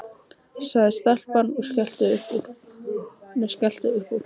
sagði stelpan og skellti upp úr.